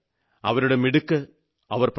അവരുടെ മിടുക്ക് പ്രകടമായി